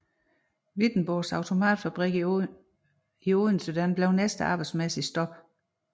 Wittenborgs Automatfabrik i Odense blev næste arbejdsmæssige stop